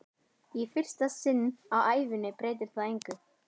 Í fyrsta sinn á ævinni breytir það engu.